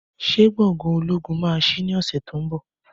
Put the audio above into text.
Ṣé gbòngàn ológun máà sí ní ọsẹ tí o nbọ